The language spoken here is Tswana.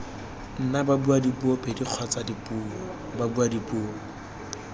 nna babuadipuo pedi kgotsa babuadipuo